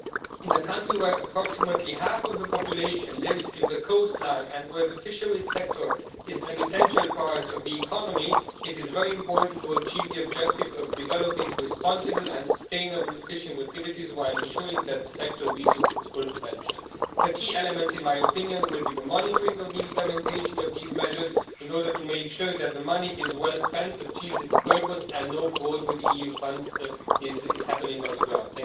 In a country where approximately half of the population lives on the coastline, and where the fisheries sector is an essential part of the economy, it is very important to achieve the objective of developing responsible and sustainable fishing activities while ensuring that the sector reaches its full potential. A key element, in my opinion, will be the monitoring of the implementation of these measures in order to make sure that the money is well spent, that it achieves its purpose, and that no fraud with EU funds takes place on the ground.